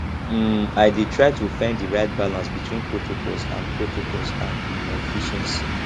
um i dey try to find di right balance between protocols and protocols and um efficiency